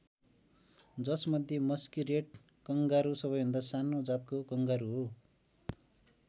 जसमध्ये musky rat kangaroo सबैभन्दा सानो जातको कङ्गारु हो।